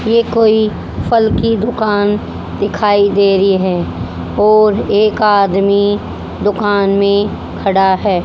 ये कोई फल की दुकान दिखाई दे रही है और एक आदमी दुकान में खड़ा है।